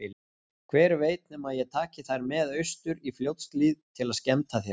Hver veit nema ég taki þær með austur í Fljótshlíð til að skemmta þér.